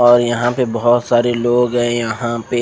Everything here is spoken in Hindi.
और यहाँ पे भोत सारे लोग है यहाँ पे--